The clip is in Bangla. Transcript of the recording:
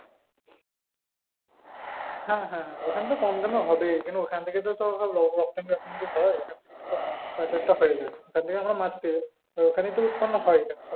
হ্যাঁ হ্যাঁ হ্যাঁ ওখানে তো কম দামে হবেই কারন ওখান থেকে তো সব রপ্তানি হয় ওখান থেকে তো সব পাচার টা হয় এবার ওখানেই তো উৎপন্ন হয়।